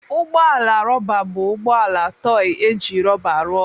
Ụgbọ ala rọba bụ ụgbọ ala tọị e ji rọba rụọ.